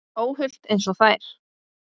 Óhult einsog þær.